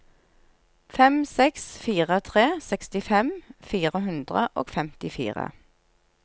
fem seks fire tre sekstifem fire hundre og femtifire